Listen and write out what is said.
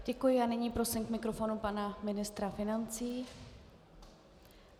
Děkuji a nyní prosím k mikrofonu pana ministra financí.